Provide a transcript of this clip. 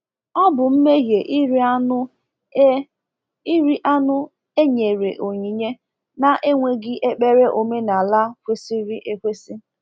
Ọ bụ mmehie iri anụ e iri anụ e nyere onyinye na-enweghị ekpere omenala kwesịrị ekwesị.